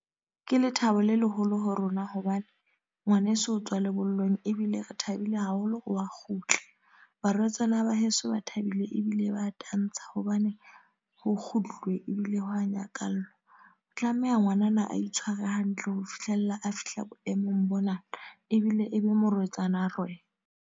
Ke lethabo le leholo ho rona. Hobane, ngwaneso o tswa lebollong. Ebile re thabile haholo wa kgutla. Barwetsana ba heso ba thabile ebile ba tantsha. Hobane ho kgutluwe, ebile ho a nyakallwa. Tlameha ngwanana a itshware hantle ho fihlella a fihla boemong bona. Ebile e be morwetsana a rwe!